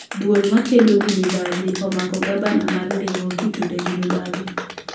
Duol makedo gi mibadhi omako gabna ma ndiwo kitude gi mibadhi